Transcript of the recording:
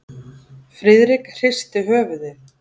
Friðrik hristi höfuðið.